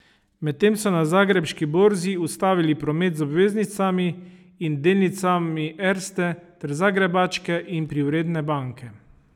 Medtem so na zagrebški borzi ustavili promet z obveznicami in delnicami Erste ter Zagrebačke in Privredne banke.